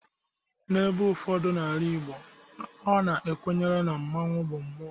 n'ebe ụfọdụ n'ala Igbo, ọ ha-kwere na mmanwu bụ mmụọ